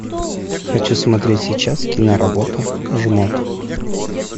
хочу смотреть сейчас киноработу жмот